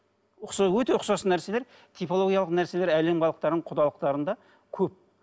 өте ұқсас нәрселер типологиялық нәрселер әлем халықтарының құдалықтарында көп